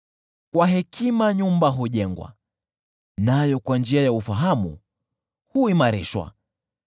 Kwa hekima nyumba hujengwa, nayo kwa njia ya ufahamu huimarishwa